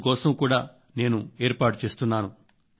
అందుకోసం కూడా నేను ఏర్పాటు చేస్తున్నాను